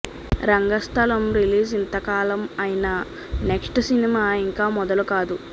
Rangasthalam release ఇంతకాలం అయినా next cinema ఇంకా మొదలు కాదు